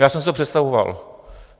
Já jsem si to představoval.